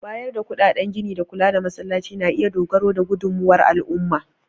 Bayar da kuɗaɗen gini da kula da Masallacin na iya dogara da gudunmawar al'umma.